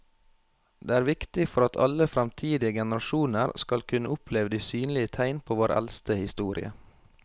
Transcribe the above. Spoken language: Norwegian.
Det er viktig for at alle fremtidige generasjoner skal kunne oppleve de synlige tegn på vår eldste historie.